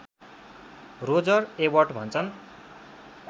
Roger Ebert भन्छन्